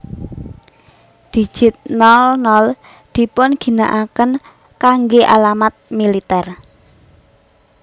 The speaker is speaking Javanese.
Digit nol nol dipunginakaken kanggé alamat Militer